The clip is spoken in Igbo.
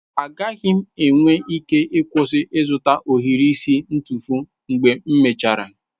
Agaghị m enwe ike ịkwụsị ịzụta ohiri isi ntufu mgbe m mechara.